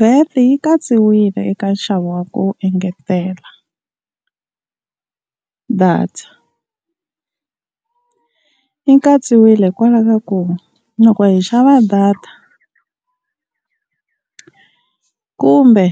VAT yi katsiwile eka nxavo wa ku engetela data, yi katsiwile hikwalaho ka ku loko hi xava data kumbe